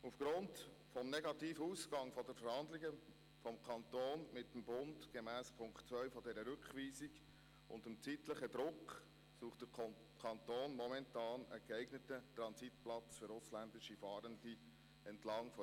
Aufgrund des negativen Ausgangs der Verhandlungen zwischen Kanton und Bund gemäss Punkt 2 dieser Rückweisung und aufgrund des zeitlichen Drucks sucht der Kanton momentan entlang der Autobahn-Transitachse A1 einen geeigneten Platz für ausländische Fahrende.